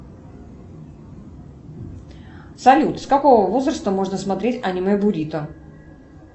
салют с какого возраста можно смотреть аниме бурито